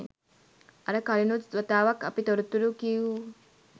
අර කලිනුත් වතාවක් අපි තොරතුරු කිවූ